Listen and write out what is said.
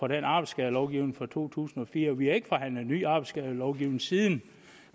den arbejdsskadelovgivning fra to tusind og fire vi har ikke forhandlet en ny arbejdsskadelovgivning siden